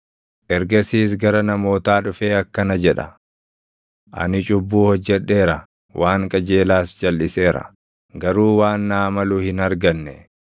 Ergasiis gara namootaa dhufee akkana jedha; ‘Ani cubbuu hojjedheera; waan qajeelaas jalʼiseera; garuu waan naa malu hin arganne.